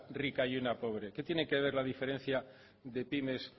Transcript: rica y una pobre qué tiene que ver la diferencia de pymes